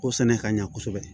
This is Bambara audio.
O sɛnɛ ka ɲa kosɛbɛ